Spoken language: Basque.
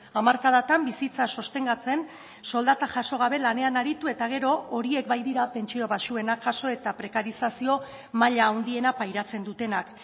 hamarkadatan bizitza sostengatzen soldata jaso gabe lanean aritu eta gero horiek baitira pentsio baxuenak jaso eta prekarizazio maila handiena pairatzen dutenak